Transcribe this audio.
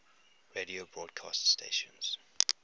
radio broadcast stations